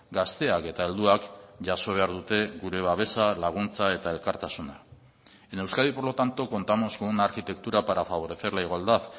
gazteak eta helduak jaso behar dute gure babesa laguntza eta elkartasuna en euskadi por lo tanto contamos con una arquitectura para favorecer la igualdad